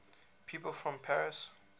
people from paris